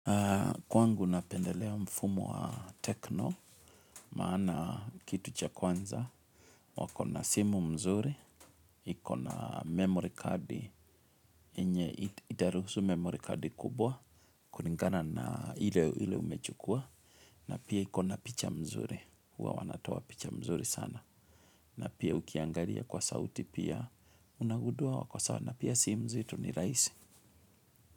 Kwangu napendelea mfumo wa tecno, maana kitu cha kwanza, wakona simu mzuri, ikona memory card, yenye itaruhusu memory card kubwa, kulingana na ile umechukua, na pia ikona picha mzuri, huwa wanatoa picha mzuri sana, na pia ukiangalia kwa sauti pia unagundua wako sawa, na pia simu zetu ni rahisi.